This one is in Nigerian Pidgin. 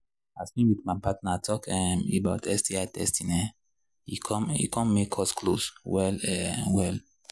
as me with my partner talk um about sti testing um e come e come make us close well um well